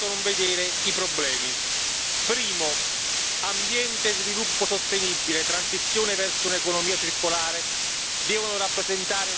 Primo ambiente e sviluppo sostenibile e transizione verso un'economia circolare devono rappresentare una chiara priorità strategica.